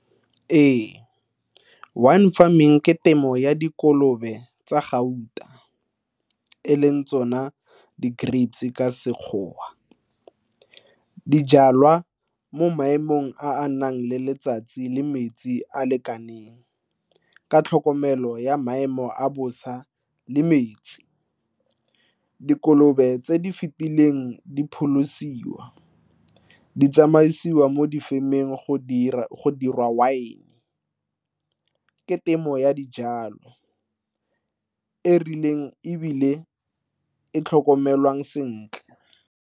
Ee, wine farming ke temo ya dikolobe tsa gauta e leng tsona di grapes ka Sekgowa. Di jalwa mo maemong a a nang le letsatsi le metsi a a lekaneng. Ka tlhokomelo ya maemo a bosa le metsi. Dikolobe tse di fetileng di pholosiwa, di tsamaisiwa mo difemeng go dira wine. Ke temo ya dijalo e e rileng, ebile e tlhokomelwang sentle.